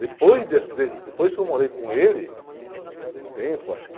Depois desse, de, depois que eu morei com ele, um, um tempo, acho que...